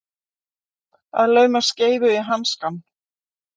Að lauma skeifu í hanskann